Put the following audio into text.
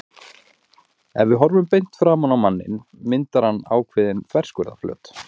Ef við horfum beint framan á manninn myndar hann ákveðinn þverskurðarflöt.